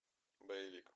боевик